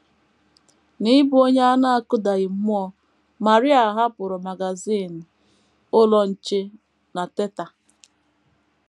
N’ịbụ onye a na - akụdaghị mmụọ, Maria hapụrụ magazin Ụlọ Nche na Teta!